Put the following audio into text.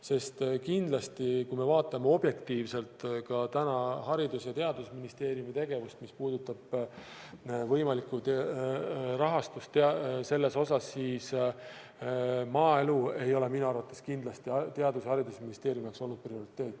Sest kindlasti, kui me vaatame objektiivselt ka täna Haridus- ja Teadusministeeriumi tegevust, mis puudutab võimalikku rahastust selles osas, siis maaelu ei ole minu arvates kindlasti Haridus- ja Teadusministeeriumi jaoks olnud prioriteet.